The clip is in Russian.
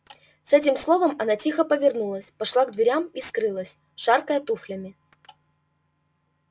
с этим словом она тихо повернулась пошла к дверям и скрылась шаркая туфлями